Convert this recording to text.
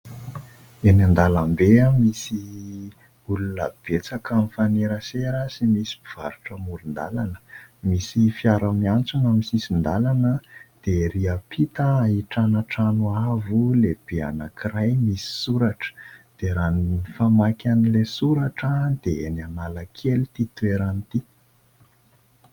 Eny an-dàlambe, misy olona betsaka mifanerasera sy misy mpivarotra amoron-dàlana. Misy fiara miantsona amin'ny sisin-dàlana dia ery ampita ahitana trano avo lehibe anankiray misy soratra; dia raha ny famaky an'ilay soratra dia eny Analakely ity toerana ity.